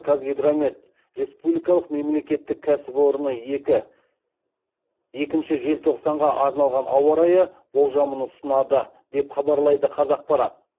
қазгидромет республикалық мемлкеттік екінші желтоқсанға арналған ауа райы болжамын ұсынады деп хабарлайды қазақпарат